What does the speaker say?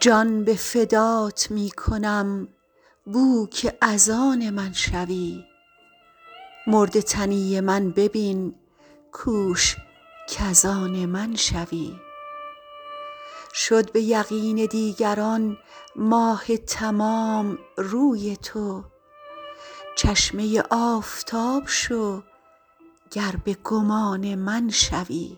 جان به فدات می کنم بو که از آن من شوی مرده تنی من ببین کوش کز آن من شوی شد به بقین دیگران ماه تمام روی تو چشمه آفتاب شو گر به گمان من شوی